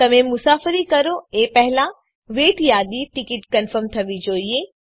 તમે મુસાફરી કરો એ પહેલા વેઇટ યાદીની ટીકીટ કન્ફર્મ થવી જોઈએ